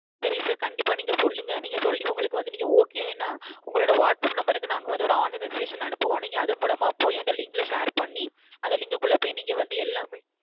சரி sir கண்டிப்பா நீங்க சொல்லுங்க நீங்க சொல்லி உங்களுக்கு வந்து Okay ன உங்களோட WhatsApp Number க்கு நாங்க வந்து ஒரு Online Registration அனுப்புவோம் நீங்க அது மூலமா போய் அந்த Link ல Share பண்ணி அந்த Link குள்ள போய் நீங்க வந்து எல்லாமே